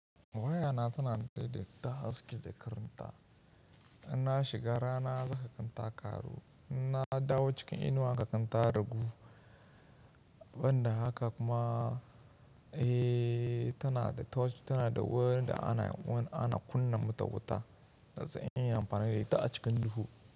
Wayana tana daidaita haske da karinta. Ina shiga rana zaka gan ta karu, ina dawo cikin inuwa ka gan ta ragu. Ban da haka kuma, eh tana da torch, tana da wani da ana, wanda ana kunna mata wuta, don su iya amfani da ita a cikin duhu.